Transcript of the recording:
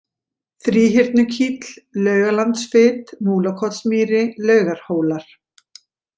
Þríhyrnukíll, Laugalandsfit, Múlakotsmýri, Laugarhólar